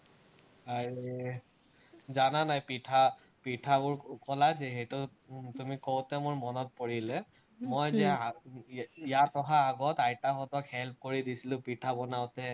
জানা নাই, পিঠাবোৰ কলা যে, সেইটো তুমি কওঁতে মোৰ মনত পৰিলে, মই যে ইয়াত অহাৰ আগত আইতাহঁতক help কৰি দিছিলো, পিঠা বনাওতে।